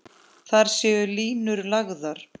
Þar séu línur lagðar.